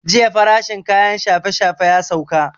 Jiya farashin kayan shafe shafe ya sauka